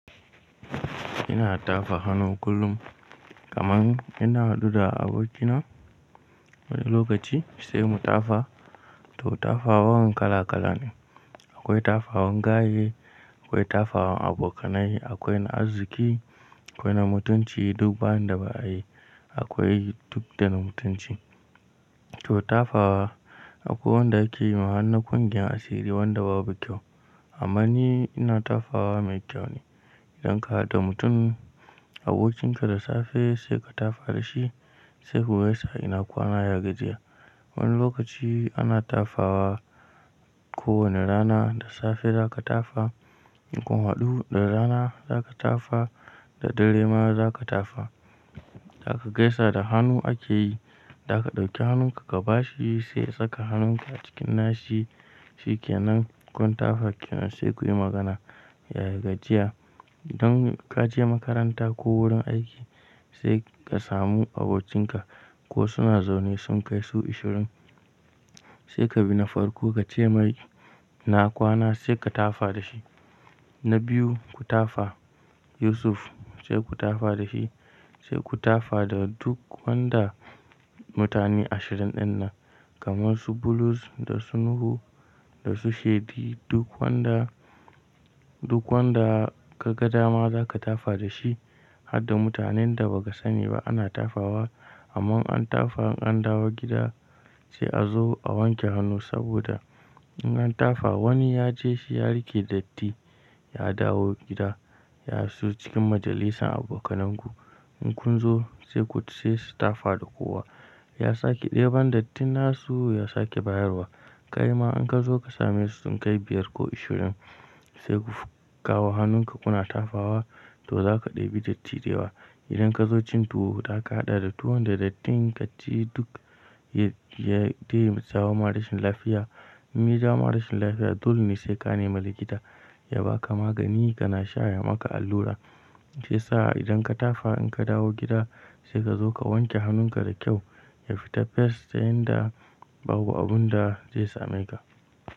Ina tafa hannu kullum kaman ina huba abokina wani lokaci sai mu tafa. To tafawan kala kala ne. Akwai tafawan gaye, akwai tafawan abokanai, akwai na arziki, akwai na mutunci duk ba inda ba ayi, akwai duk da na mutunci. To tafawa akwai wanda ake yiwa har na kungiyar asiri wanda babu kyau amma ni ina tafawa mai kyau ne. Idan ka haɗu mutum abokinka da safe sai ka tafa dashi sai ku gaisa ina kwana, ya gajiya. Wani lokaci ana tafawa kowane rana da safe zaka tafa, in kun haɗu da rana za ka tafa, da dare ma za ka tafa. Zaka gaisa da hannu ake yi, zaka ɗauki hannun ka kaba shi sai saka hannun ka a cikin nashi shikenan kun tafa kenan sai kuyi magana yaya gajiya. Idan kaje makaranta ko wurin aiki sai ka samu abokinka ko suna zaune sun kai su ashirin sai ka bina farko kace mai "ina kwana" saika tafa dashi. Na biyu ku tafa “Yusuf” sai ku tafa da shi sai ku tafa da duk wanda mutane ashirin ɗin nan kamar su Bulus da su Nuhu da su Shedi duk wanda, duk wanda ka ga dama zaka tafa da shi har da mutanen da ba ka sani ba ana tafawa. Amman an tafa in an dawo gida sai azo a wanke hannu saboda in an tafa wani yaje shi ya rike datti ya dawo gida ya iso cikin majalisan abokananku. In kunzo sai ku sai su tafa da kowa ya sake ɗeban dattin nasu ya sake bayarwa. Kai ma in kazo ka same su sun kai biyar ko ashirin sai ku kawo hannun ka kuna tafawa to zaka ɗebi datti dayawa. Idan ka zo cin tuwo zaka haɗa da tuwon da datti ka ci duk ya samarma rashin lafiya. In ya jama rashin lafiya dole ne sai ka nemi likita ya baka magani kana sha ya maka allura. Shiyasa idan ka tafa in ka dawo gida sai ka zo ka wanke hannun ka da kyau ya fita fes ta yanda babu abun da zai sameka.